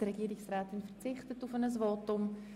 Frau Regierungsrätin Simon verzichtet auf ein Votum.